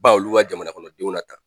Ban olu ka jamana kɔnɔdenw na tan.